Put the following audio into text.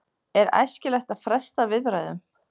Er æskilegt að fresta viðræðum?